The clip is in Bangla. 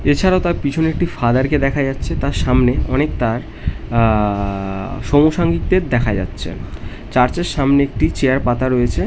এছাড়াও তার পিছনে একটি ফাদার কে দেখা যাচ্ছে তার সামনে অনেকতা আ আ চার্চ এর সামনে একটি চেয়ার পাতা রয়েছে।